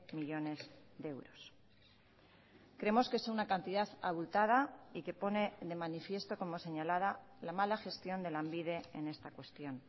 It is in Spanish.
millónes de euros creemos que es una cantidad abultada y que pone de manifiesto como señalada la mala gestión de lanbide en esta cuestión